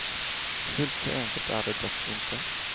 Fullt så enkelt är det dock inte.